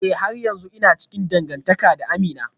Eh har yanzu ina cikin dangantaka da Amina